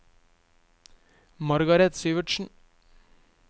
Margaret Syvertsen